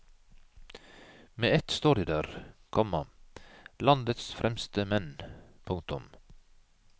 Med ett står de der, komma landets fremste menn. punktum